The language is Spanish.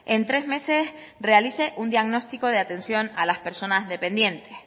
en tres meses realice un diagnóstico de atención a las personas dependientes